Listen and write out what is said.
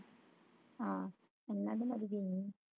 ਹਾਂ ਮੀਨਾ ਵੀ ਅੱਜ ਗਈ ਨੀ